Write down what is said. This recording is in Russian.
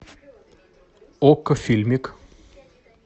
окко фильмик